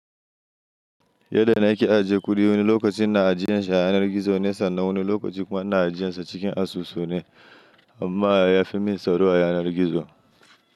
Yadda na ke ajiye kuɗi wani lokacin na ajiyesha a yanar gizo nesa na wani lokaci kuma na ajiye shi cikin asusu ne amma ya fi min tsaro a yanar gizo.